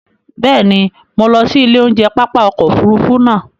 Bẹ́ẹ̀ ni, mo lọ sí ilé oúnjẹ pápá ọkọ̀ Òfurufú naa